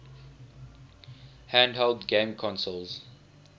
handheld game consoles